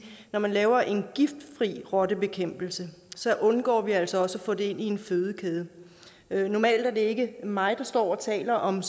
når man laver en giftfri rottebekæmpelse undgår vi altså også at få det ind i en fødekæde normalt er det ikke mig der står og taler om